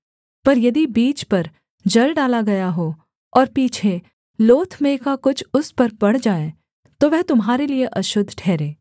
पर यदि बीज पर जल डाला गया हो और पीछे लोथ में का कुछ उस पर पड़ जाए तो वह तुम्हारे लिये अशुद्ध ठहरे